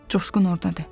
Coşqun ordadır.